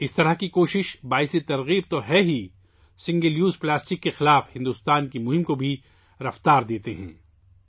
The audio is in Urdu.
اس طرح کی کوششیں نہ صرف متاثر کن ہیں، بلکہ سنگل یوز پلاسٹک کے خلاف ہندوستان کی مہم کو بھی تقویت دیتی ہیں